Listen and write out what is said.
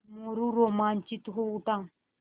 मोरू रोमांचित हो उठा